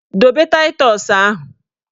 Dobe taịtọs ahụ!